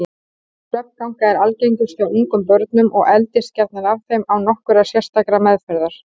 Svefnganga er algengust hjá ungum börnum og eldist gjarnan af þeim án nokkurrar sérstakrar meðferðar.